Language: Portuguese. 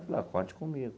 Ela falou ah, conte comigo.